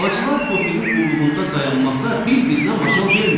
Bacılar Tofiqin qulluğunda dayanmaqda bir-birinə macal vermirdilər.